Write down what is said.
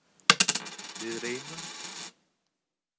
Við reynum.